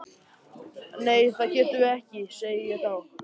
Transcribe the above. Nei það getum við ekki, segi ég þá.